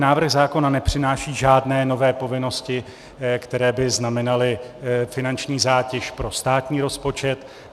Návrh zákona nepřináší žádné nové povinnosti, které by znamenaly finanční zátěž pro státní rozpočet.